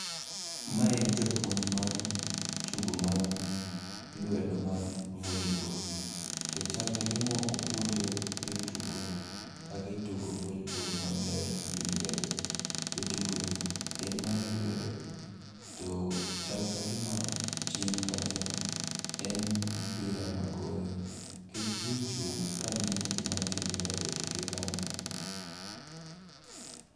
Ma en japuonj mar tugo mar lwedo mar volibol, to chal kagima opuonjo jotugo kakitugo volibol maber gi lwedo. To tugo ni en mar lwedo to chal kagima chien kacha en mpira e gore. Kech ji ochung' kang'iyo gima timre e toke kanyo.